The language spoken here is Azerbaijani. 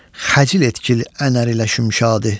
Xəcil etgil ənar ilə şimşadı.